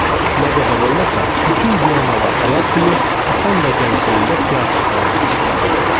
Nə qədər olmasa, bütün Viyanalı atalar kimi, atam da gəncliyində teatr pərəstişkarı imiş.